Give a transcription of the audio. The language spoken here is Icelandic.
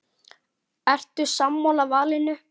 Ertu sammála valinu?